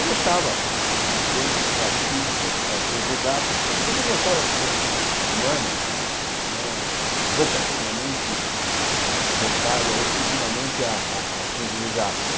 Eu gostava de mecânica, gostava de física, gostava de ciências exatas, mas também gostava de ciências humanas, não não era vocacionalmente eh voltado a exclusivamente a a às ciências exatas.